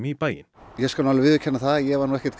í bæinn ég skal viðurkenna það að ég var ekkert